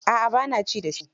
A'a ba na ci da shi.